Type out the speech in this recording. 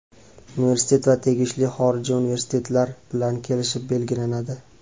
Universitet va tegishli xorijiy universitetlar bilan kelishib belgilanadi.